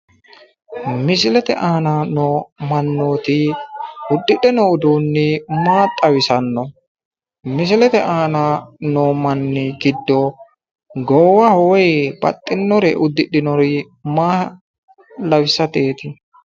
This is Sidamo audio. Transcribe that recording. Misilete aana noo mannooti uddidhe noo uduunni maa xawisaano? misilete aana noo manni giddo goowaho woy baxxinore uddidhinori maa lawisateeti?